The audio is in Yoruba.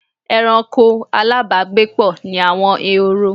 Ẹranko alábàágbépọ̀ ni àwọn ehoro.